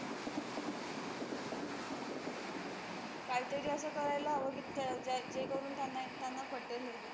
काहीतरी असं करायला हवं की, त्या ज्या जे करून त्यांना त्यांना पटेल हे